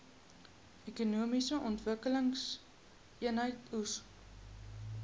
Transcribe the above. ekonomiese ontwikkelingseenhede eoes